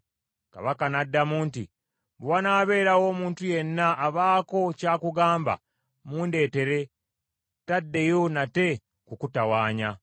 Kabaka n’addamu nti, “Bwe wanaabeerawo omuntu yenna abaako kya kugamba, mundeetere, taddeyo nate kukutawanya.”